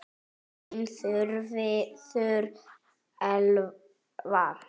Þín Þuríður Elva.